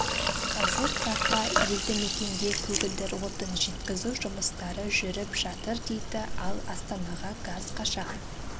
қазір тарта елді мекенге көгілдір отын жеткізу жұмыстары жүріп жатыр дейді ал астанаға газ қашан